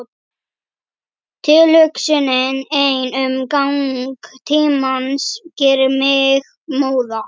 Tilhugsunin ein um gang tímans gerir mig móða.